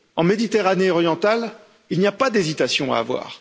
En Méditerranée orientale, il n'y a pas d'hésitation à avoir.